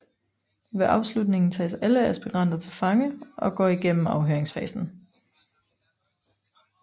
Ved afslutningen tages alle aspiranter til fange og går igennem afhøringsfasen